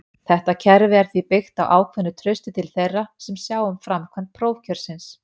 Þetta kerfi er því byggt á ákveðnu trausti til þeirra sem sjá um framkvæmd prófkjörsins.